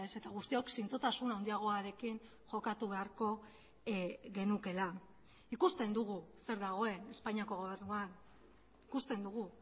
eta guztiok zintzotasun handiagoarekin jokatu beharko genukeela ikusten dugu zer dagoen espainiako gobernuan ikusten dugu